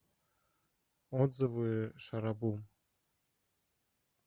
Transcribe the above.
отзывы шаробум